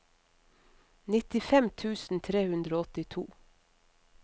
nittifem tusen tre hundre og åttito